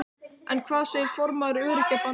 En hvað segir formaður Öryrkjabandalagsins?